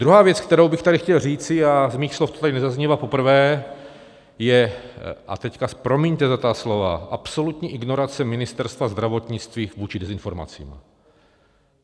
Druhá věc, kterou bych tady chtěl říci, a z mých slov to tady nezaznívá poprvé, je, a teď promiňte za ta slova, absolutní ignorace Ministerstva zdravotnictví vůči dezinformacím.